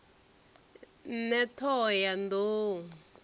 ṋne t hoho ya nḓou